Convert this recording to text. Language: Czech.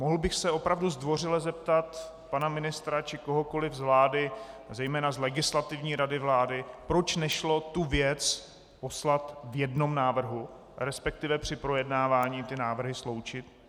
Mohl bych se opravdu zdvořile zeptat pana ministra či kohokoliv z vlády, zejména z Legislativní rady vlády, proč nešlo tu věc poslat v jednom návrhu, respektive při projednávání ty návrhy sloučit?